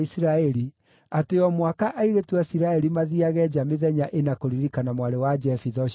atĩ o mwaka airĩtu a Isiraeli mathiiage nja mĩthenya ĩna kũririkana mwarĩ wa Jefitha ũcio Mũgileadi.